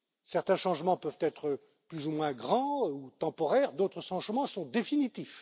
Certains changements peuvent être plus ou moins grands ou temporaires, d'autres changements sont définitifs.